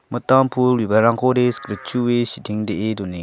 mitam pul bibalrangkode sikritchue sitengdee donenga.